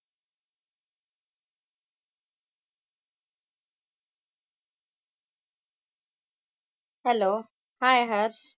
Hello hi Harsh.